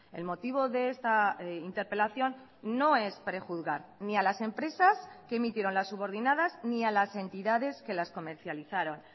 el motivo de esta interpelación no es prejuzgar ni a las empresas que emitieron las subordinadas ni a las entidades que las comercializaron